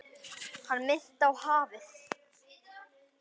Hann minnti á hafið.